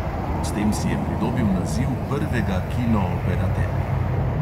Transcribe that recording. S tem si je pridobil naziv prvega kinooperaterja.